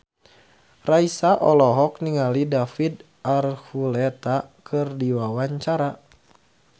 Raisa olohok ningali David Archuletta keur diwawancara